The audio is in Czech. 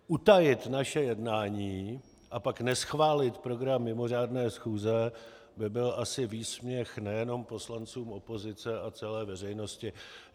Utajit naše jednání, a pak neschválit program mimořádné schůze by byl asi výsměch nejenom poslancům opozice a celé veřejnosti.